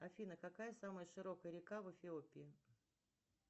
афина какая самая широкая река в эфиопии